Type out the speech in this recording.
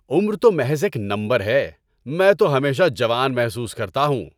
عمر تو محض ایک نمبر ہے۔ میں تو ہمیشہ جوان محسوس کرتا ہوں۔